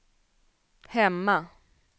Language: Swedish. hemma